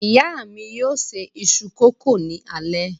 Ìyá mi yóò ṣe iṣu-kókò ní alẹ́